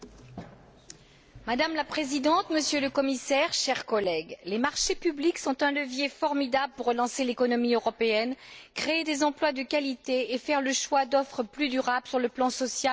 Madame la Présidente, Monsieur le Commissaire, chers collègues, les marchés publics sont un levier formidable pour relancer l'économie européenne, créer des emplois de qualité et faire le choix d'offres plus durables sur le plan social et environnemental.